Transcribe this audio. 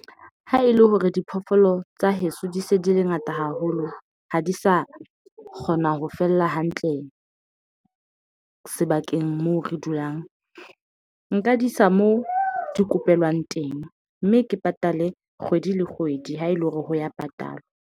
Ha e le hore diphoofolo tsa heso di se di le ngata haholo. Ha di sa kgona ho fella hantle sebakeng moo re dulang. Nka di isa moo di kopelwang teng. Mme ke patale kgwedi le kgwedi ha e le hore ho ya patalwa.